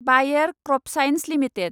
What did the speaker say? बायेर crop science limited